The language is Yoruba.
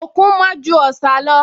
Òkun mọ́ ju Ọ̀sà lọ